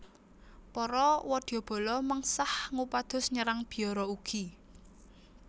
Para wadyabala mengsah ngupados nyerang biara ugi